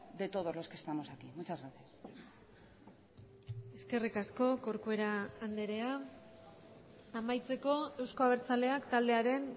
de todos los que estamos aquí muchas gracias eskerrik asko corcuera andrea amaitzeko euzko abertzaleak taldearen